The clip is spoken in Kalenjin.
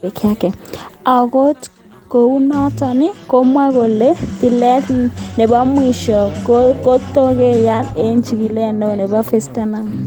Akot kounotet kemwoe kole, tilet nibo mwisho kotokeyay ak chigilet neo Yves Leterme.